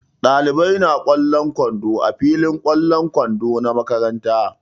Ɗalibai na ƙwallon kwando a filin ƙwallon kwando na makaranta.